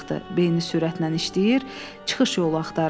Beyni sürətlə işləyir, çıxış yolu axtarırdı.